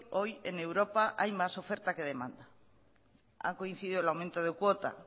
hoy en europa hay más oferta que demanda ha coincidido el aumento de cuota